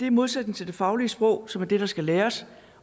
i modsætning til det faglige sprog som er det der skal læres